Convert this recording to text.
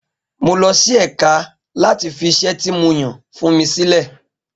Mo lọ sí ẹ̀ka láti fi iṣẹ́ tí mo yàn fún mi sílẹ̀.